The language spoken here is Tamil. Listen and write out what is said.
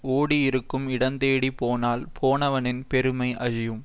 ஓடி இருக்கும் இடந்தேடிப் போனால் போனவனின் பெருமை அழியும்